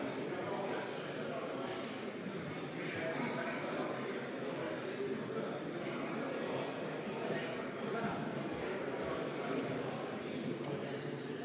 Palun!